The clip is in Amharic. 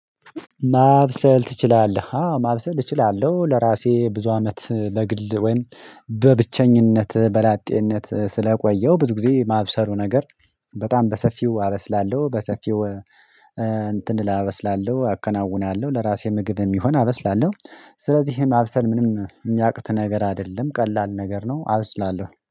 ማብሰል ትችላለህ? አዎ ማብሰል እችላለሁ ለራሴ ብዙ አመት ለግል ወይም በብቸኝነት በላጤነት ስለቆየው ብዙ ጊዜ ማብሰሉ ነገር በጣም በሰፊው አበስላለሁ በሰፊው እንትን ላበስላለሁ አከናውናለሁ ለራሴ ምግብ የሚሆን አበስላለሁ ስለዚህም ማብሰል ምንም የሚያቅት ነገር አይደለም ቀላል ነገር ነው አብስላለሁ